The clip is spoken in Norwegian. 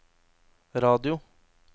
radio